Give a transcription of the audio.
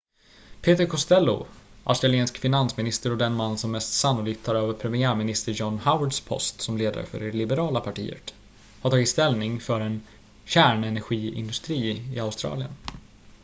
peter costello australiensisk finansminister och den man som mest sannolikt tar över premiärminister john howards post som ledare för det liberala partiet har tagit ställning för en kärnenergiindustri i australien